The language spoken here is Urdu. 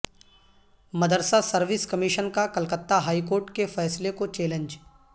مدرسہ سروس کمیشن کا کلکتہ ہائیکورٹ کے فیصلہ کو چیلنج